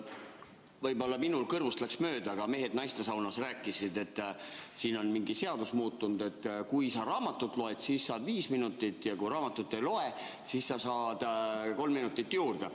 Võib-olla minul läks kõrvust mööda, aga mehed naistesaunas rääkisid, et siin on mingi seadus muutunud, et kui sa raamatut loed, siis saad viis minutit, ja kui raamatut ei loe, siis sa saad kolm minutit juurde.